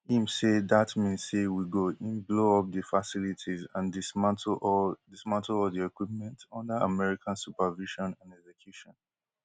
im say dat mean say we go in blow up di facilities and dismantle all dismantle all di equipment under american supervision and execution